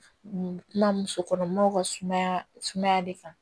Kuma muso kɔnɔmaw ka sumaya sumaya de kan